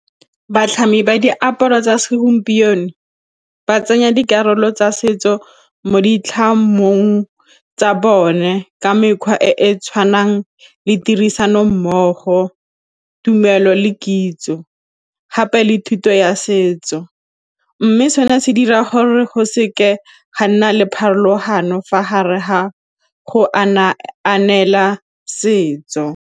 Batlhami ba diaparo tsa segompieno ba tsenya dikarolo tsa setso mo ditlhamong tsa bone ka mekgwa e e tshwanang le tirisanommogo, tumelo le kitso gape le thuto ya setso mme seno se dira gore go seke ga nna le pharologano fa gare ga go setso.